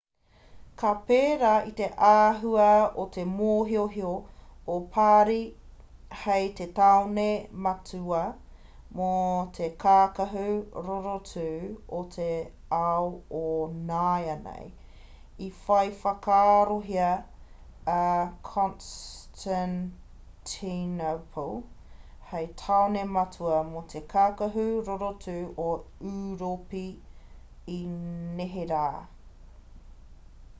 ka pērā i te āhua o te mōhiohio o parī hei te tāone matua mō te kākahu rorotu o te ao o nāianei i whai whakaarohia a constantinople hei tāone matua mō te kākahu rorotu o ūropi i neherā